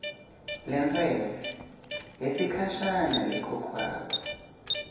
lentsela yesikhashana lekhokhwako